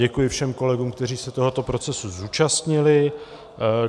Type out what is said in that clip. Děkuji všem kolegům, kteří se tohoto procesu zúčastnili.